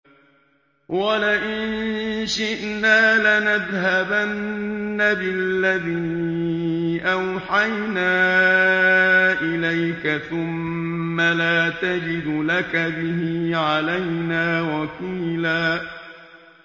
وَلَئِن شِئْنَا لَنَذْهَبَنَّ بِالَّذِي أَوْحَيْنَا إِلَيْكَ ثُمَّ لَا تَجِدُ لَكَ بِهِ عَلَيْنَا وَكِيلًا